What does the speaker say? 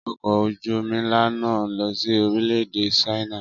Ọkọ̀ ojú omi ńlá náà ń lọ sí orílè-èdè Ṣáínà